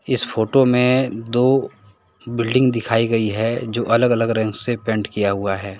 इस फोटो में दो बिल्डिंग दिखाई गई है जो अलग अलग रंग से पेंट किया हुआ है।